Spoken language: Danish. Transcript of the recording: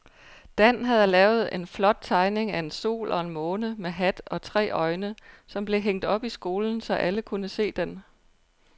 Dan havde lavet en flot tegning af en sol og en måne med hat og tre øjne, som blev hængt op i skolen, så alle kunne se den.